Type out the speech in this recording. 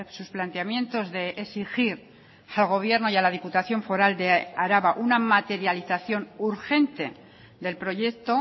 sus planteamientos de exigir al gobierno y a la diputación foral de araba una materialización urgente del proyecto